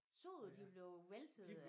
Så du de blev væltet